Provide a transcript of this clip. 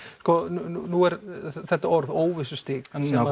nú er þetta orð óvissustig